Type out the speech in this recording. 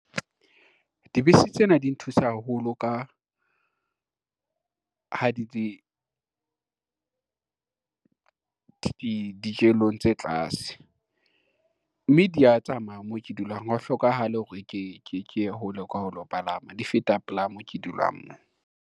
Dibese tsena di nthusa haholo ka, ha di di dijelong tse tlase, mme dia tsamaya mo ke dulang ha ho hlokahale hore ke ye hole kwa ho lo palama, di feta pela mo ke dulang nna.